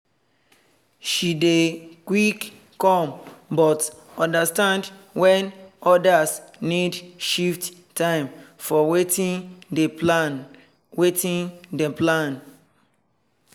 she dey quick come but understand when others need shift time from watin dem plan. watin dem plan.